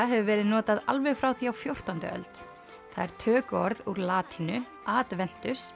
hefur verið notað alveg frá því á fjórtándu öld það er tökuorð úr latínu